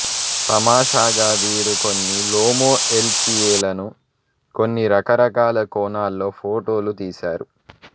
తమాషాగా వీరు కొన్ని లోమో ఎల్ సిఏ లను కొని రకరకాల కోణాల్లో ఫోటోలు తీసారు